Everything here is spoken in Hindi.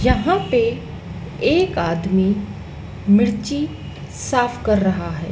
यहां पे एक आदमी मिर्ची साफ कर रहा है।